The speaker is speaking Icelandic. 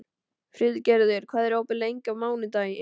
Friðgerður, hvað er opið lengi á mánudaginn?